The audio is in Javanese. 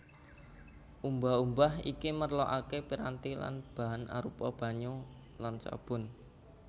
Umbah umbah iki merlokaké piranti lan bahan arupa banyu lan sabun